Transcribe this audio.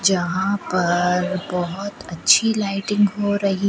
जहां पर बहोत अच्छी लाइटिंग हो रही--